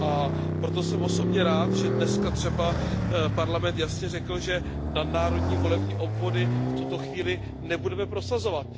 A proto jsem osobně rád, že dnes třeba Parlament jasně řekl, že nadnárodní volební obvody v tuto chvíli nebudeme prosazovat.